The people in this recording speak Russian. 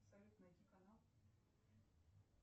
салют найди канал